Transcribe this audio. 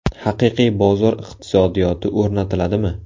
Haqiqiy bozor iqtisodiyoti o‘rnatiladimi?